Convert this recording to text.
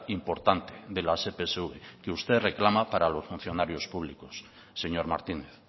importante de las epsv que usted reclama para los funcionarios públicos señor martínez